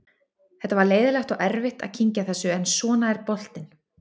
Þetta var leiðinlegt og erfitt að kyngja þessu en svona er boltinn.